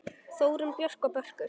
Þórunn Björk og Börkur.